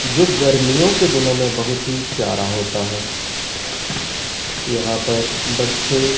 जो गर्मियों के दिनों में बहुत ही प्यारा होता है यहां पर बच्चे--